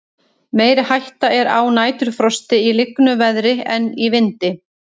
meiri hætta er á næturfrosti í lygnu veðri en í vindi